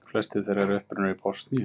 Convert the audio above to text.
Flestir þeirra eru upprunnir í Bosníu